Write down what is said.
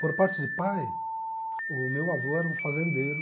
Por parte de pai, o meu avô era um fazendeiro.